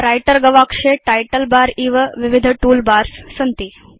writer गवाक्षे title bar इव विविध तूल बार्स सन्ति